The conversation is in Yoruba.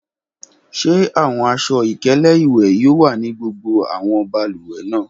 Ṣe awọn aṣọ-ikele iwẹ yoo wa ni gbogbo awọn balùwẹ naa?